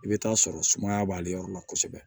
I bɛ taa sɔrɔ sumaya b'ale yɔrɔ la kosɛbɛ